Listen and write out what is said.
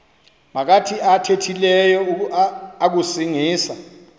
maphakathi athethileyo akusingisa